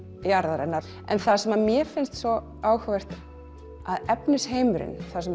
jarðarinnar en það sem mér finnst svo áhugavert er að efnisheimurinn það sem